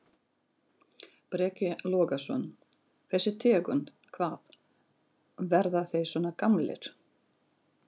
Breki Logason: Þessi tegund, hvað, verða þeir svona gamlir?